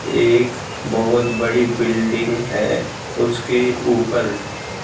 एक बहुत बड़ी बिल्डिंग है उसके ऊपर--